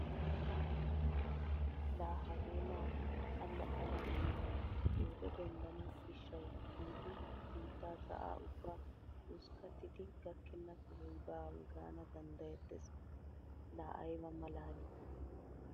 Laa hagee naati allaxxanawunne pooto denddana gishshawu giidi biittaa sa'aa ubbaa hoskkattidi gakkenna sohoy baawa gaana danddayettees. Laa ayba maalaalii!